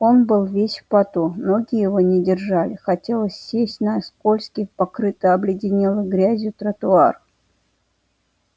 он был весь в поту ноги его не держали хотелось сесть на скользкий покрытый обледенелой грязью тротуар